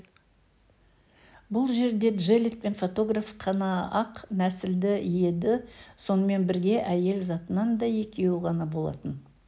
бұл жерде джеллет пен фотограф қана ақ нәсілді еді сонымен бірге әйел затынан да екеуі ғана болатын